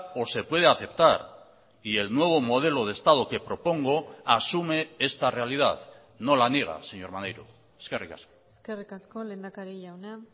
o se puede aceptar y el nuevo modelo de estado que propongo asume esta realidad no la niega señor maneiro eskerrik asko eskerrik asko lehendakari jauna